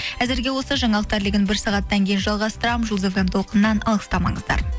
әзірге осы жаңалықтар легін бір сағаттан кейін жалғастырамын жұлдыз фм толқынынан алыстамаңыздар